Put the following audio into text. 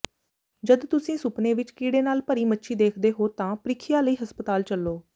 ਜਦ ਤੁਸੀਂ ਸੁਪਨੇ ਵਿਚ ਕੀੜੇ ਨਾਲ ਭਰੀ ਮੱਛੀ ਦੇਖਦੇ ਹੋ ਤਾਂ ਪ੍ਰੀਖਿਆ ਲਈ ਹਸਪਤਾਲ ਚਲੋ